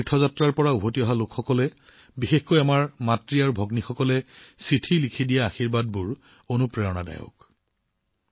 হজ তীৰ্থযাত্ৰাৰ পৰা উভতি অহা লোকসকলে বিশেষকৈ আমাৰ আইভনীসকলে চিঠি লিখি যি আশীৰ্বাদ দিছে সেয়া মোৰ বাবে অতি প্ৰেৰণাদায়ক